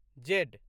Z